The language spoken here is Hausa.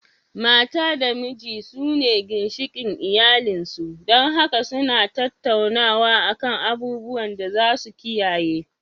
Mata da miji su ne ginshikin iyalin su, dan haka su na tattaunawa a kan abubuwan da za su kiyaye